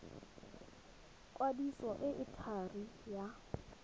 kwadiso e e thari ya